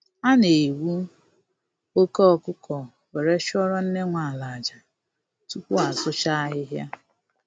A na egbu oke ọkụkọ were chụọrọ nne nwe ala aja, tupu asụcha ahịhịa